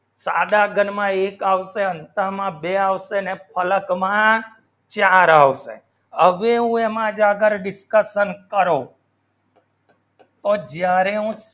સાદા ઘનમાં એક આવતામાં બે આવશે અને પલકમાં ચાર આવશે discussion પણ જ્યારે હું